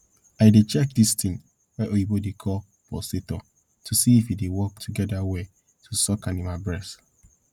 i dey check dis ting wey oyibo dey call pulsator to see if e dey work together well to suck animal breast